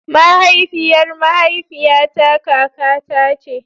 Mahaifiyar mahaifiyata kakata ce.